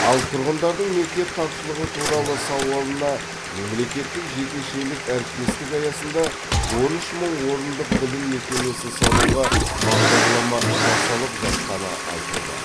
ал тұрғындардың мектеп тапшылығы туралы сауалына мемлекеттік жекешелік әріптестік аясында он үш мың орындық білім мекемесін салуға бағдарлама жасалып жатқаны айтылды